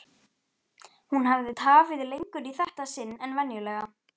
Hún hafði tafið lengur í þetta sinn en venjulega.